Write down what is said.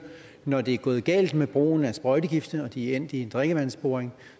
at når det er gået galt med brugen af sprøjtegifte og de er endt i en drikkevandsboring